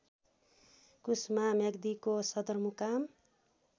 कुस्मा म्याग्दीको सदरमुकाम